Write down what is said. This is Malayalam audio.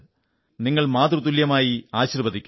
നിങ്ങൾ മാതൃതുല്യയായി ആശീർവ്വദിക്കൂ